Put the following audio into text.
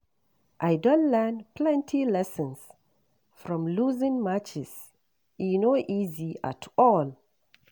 I don learn plenty lessons from losing matches; e no easy at all.